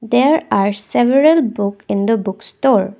There are several book in the book stall.